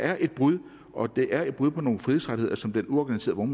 er et brud og at det er et brud på nogle frihedsrettigheder som den uorganiserede